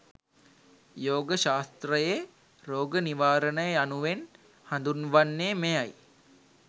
යෝග ශාස්ත්‍රයේ රෝග නිවාරණය යනුවෙන් හඳුන්වන්නේ මෙයයි.